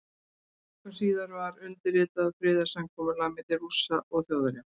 Tveimur vikum síðar var undirritað friðarsamkomulag milli Rússa og Þjóðverja.